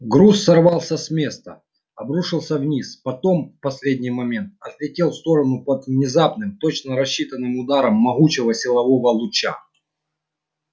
груз сорвался с места обрушился вниз потом в последний момент отлетел в сторону под внезапным точно рассчитанным ударом могучего силового луча